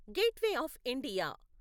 gateway of India